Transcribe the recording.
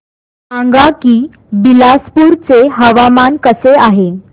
सांगा की बिलासपुर चे हवामान कसे आहे